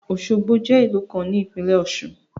Osogbo je ìlú kan ní ìpílẹ̀ ọ̀ṣun.